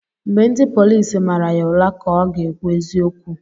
Mgbe ndị polisi mara ya ụra ka ọ ga-ekwu eziokeu